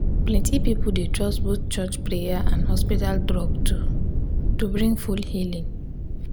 plenty people dey trust both church prayer and hospital drug to to bring full healing.